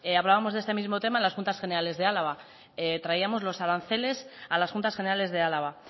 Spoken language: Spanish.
hablábamos de este mismo tema en las juntas generales de álava traíamos los aranceles a las juntas generales de álava